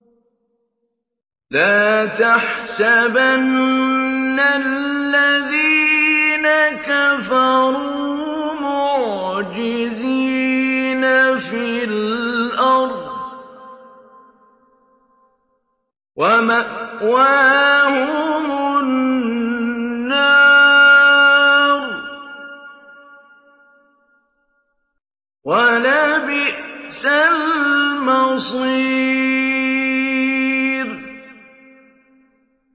لَا تَحْسَبَنَّ الَّذِينَ كَفَرُوا مُعْجِزِينَ فِي الْأَرْضِ ۚ وَمَأْوَاهُمُ النَّارُ ۖ وَلَبِئْسَ الْمَصِيرُ